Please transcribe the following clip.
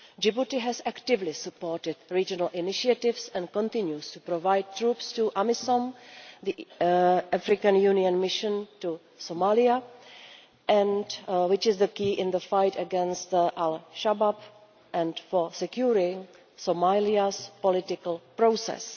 Djibouti has actively supported regional initiatives and continues to provide troops to AMISOM, the African Union Mission to Somalia, which is key in the fight against Al Shabaab and to securing Somalia's political process.